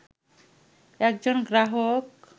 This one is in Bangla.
একজন গ্রাহক